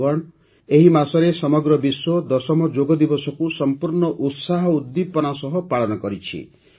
ବନ୍ଧୁଗଣ ଏହି ମାସରେ ସମଗ୍ର ବିଶ୍ୱ ଦଶମ ଯୋଗ ଦିବସକୁ ସଂପୂର୍ଣ୍ଣ ଉତ୍ସାହ ଉଦ୍ଦୀପନା ସହ ପାଳନ କରିଛି